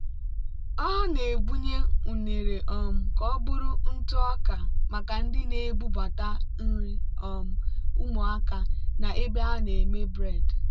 ọ na-ebunye unere um ka ọ bụrụ ntụ ọka maka ndị na-ebubata nri um ụmụaka na ebe a na-eme bred.*